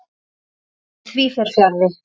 En því fer fjarri.